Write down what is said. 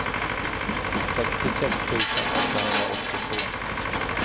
sextiosex tusen åttahundraåttiotvå